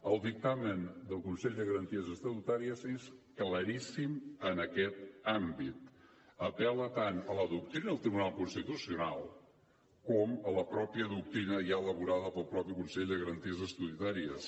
el dictamen del consell de garanties estatutàries és claríssim en aquest àmbit apel·la tant a la doctrina del tribunal constitucional com a la mateixa doctrina ja elaborada pel mateix consell de garanties estatutàries